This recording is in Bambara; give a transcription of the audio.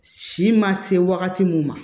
Si ma se wagati min ma